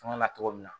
Fanga na cogo min na